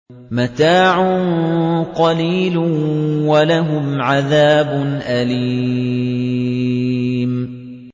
مَتَاعٌ قَلِيلٌ وَلَهُمْ عَذَابٌ أَلِيمٌ